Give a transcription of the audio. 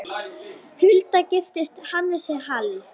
Hulda giftist Hannesi Hall.